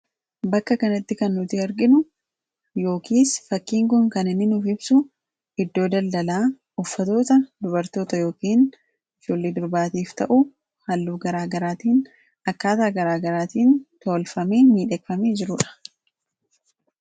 Bakka kanatti kan nuti arginu yookiis fakkiin kun kan inni nuuf ibsu iddoo daldalaa uffatoota dubartoota yookiin ijoollee durbaatiif ta'uu halluu garaagaraatiin akkaataa garaagaraatiin toolfamee miidhegfamee jiruudha.